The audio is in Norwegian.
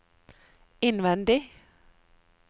innvendig